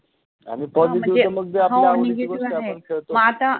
आणि positive त मग जे आपल्या आवडिचि गोष्ट आपण ख़ेळतो, मग आता